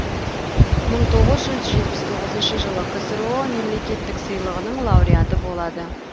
мың тоғыз жүз жетпіс тоғызыншы жылы ксро мемлекеттік сыйлығының лауреаты болады